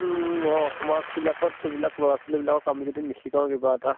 on অ সমাজ বিলাকত এইবিলাক লʼৰা ছোৱালী বিলাকক আমি যদি নিশিকাওঁ কিবা এটা